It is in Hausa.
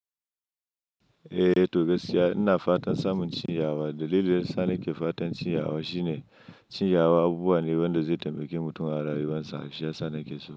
Eh to gaskiya, ina fatan samun cinyawa. Dalilin da yasa nike fatan cinyawa shine cinyawa abubuwane wanda zai tambaki mutum a rayuwansa shi yasa ni ke so.